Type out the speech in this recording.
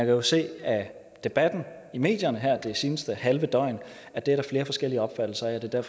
jo se af debatten i medierne her det seneste halve døgn at det er der flere forskellige opfattelser af det er